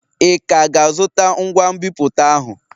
Ị ka ga-azụta ngwa nbipute ahụ?